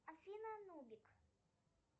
афина нубик